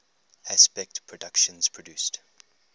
aspect productions produced